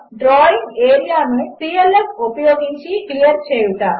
డ్రాయింగ్ఏరియానుclfఉపయోగించిక్లియర్చేయుట